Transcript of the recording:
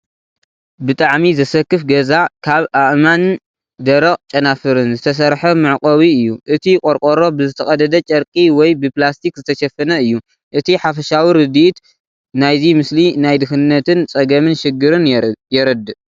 ብጣዕሚ ዘሰክፍ ገዛ ካብ ኣእማንን ደረቕ ጨናፍርን ዝተሰርሐ መዕቆቢ እዩ። እቲ ቆርቆሮ ብዝተቐደደ ጨርቂ ወይ ብፕላስቲክ ዝተሸፈነ እዩ። እቲ ሓፈሻዊ ርዲኢት ናይዚ ምስሊ ናይ ድኽነትን ጸገምን ሽግርን የርድእ።